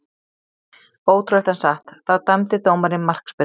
Ótrúlegt en satt, þá dæmdi dómarinn markspyrnu.